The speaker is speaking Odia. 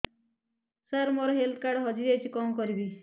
ସାର ମୋର ହେଲ୍ଥ କାର୍ଡ ଟି ହଜି ଯାଇଛି କଣ କରିବି